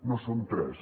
no són tres